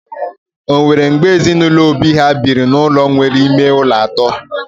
Enwere mgbe ezinụlọ Obi ha biri n'ụlọ nwere ime ụlọ atọ?